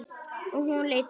Og hún leit á okkur.